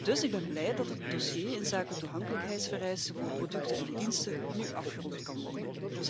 Dus ik ben blij dat het dossier inzake toegankelijkheidsvereisten voor producten en diensten nu afgerond kan worden.